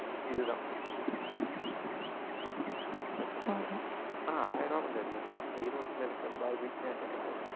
இதுதான் பிரச்சனை இல்லை ஆனா ஆயிரம் ரூபாய் கொஞ்சம் அதிகம்தான் ஈரோட்டுல இருக்கிற பார்பக்யு நேஷனுக்கு